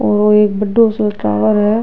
वो एक बड़ो सो टावर है।